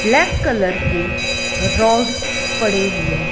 black colour की rod पड़े हुए--